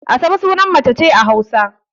Asabe sunan mace ce a Hausa.